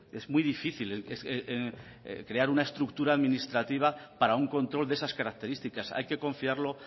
es muy difícil crear una estructura administrativa para un control de esas características hay que confiarlo